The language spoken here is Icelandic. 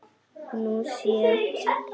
Nú sé